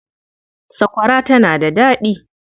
Sakwara tana da daɗi.